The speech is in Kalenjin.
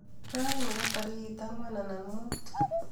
Raini ko tarik anwan anan mutu